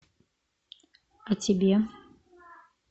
а тебе